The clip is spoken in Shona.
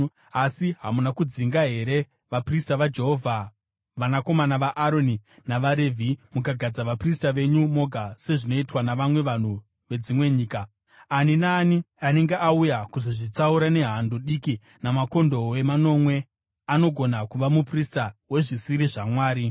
Asi hamuna kudzinga here vaprista vaJehovha, vanakomana vaAroni navaRevhi mukagadza vaprista venyu moga sezvinoitwa navamwe vanhu vedzimwe nyika? Ani naani anenge auya kuzozvitsaura nehando diki namakondobwe manomwe anogona kuva muprista wezvisiri zvamwari.